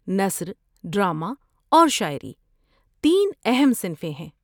نثر، ڈرامہ اور شاعری تین اہم صنفیں ہیں۔